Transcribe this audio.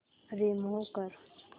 remove कर